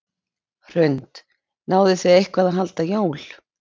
Hrund: Náðuð þið eitthvað að halda jól?